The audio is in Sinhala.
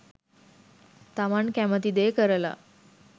තමන් කැමති දේ කරලා